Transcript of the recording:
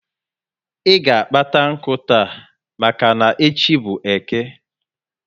I ga kpata nku taa maka n'echi bu Eke